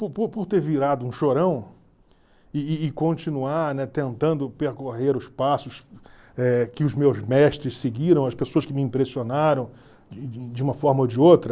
Por por por ter virado um chorão e e e continuar, né, tentando percorrer os passos eh que os meus mestres seguiram, as pessoas que me impressionaram de uma forma ou de outra...